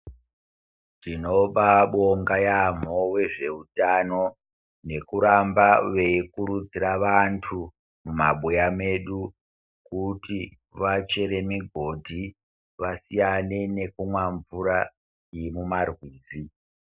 Tinobaabonga yaampho vezveutano, nekuramba veikurudzira vantu, mumabuya medu, kuti vachere migodhi, vasiyane nekumwa mvura, yemumarwizi.